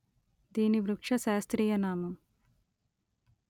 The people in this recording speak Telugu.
దీని వృక్ష శాస్త్రీయ నామం